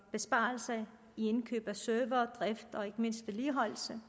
besparelser i indkøb af servere drift og ikke mindst vedligeholdelse